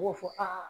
B'o fɔ aa